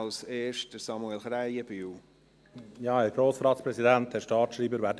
Als erster hat Samuel Krähenbühl das Wort.